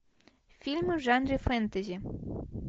фильмы в жанре фэнтези